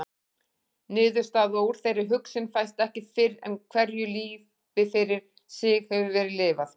Niðurstaða úr þeirri hugsun fæst ekki fyrr en hverju lífi fyrir sig hefur verið lifað.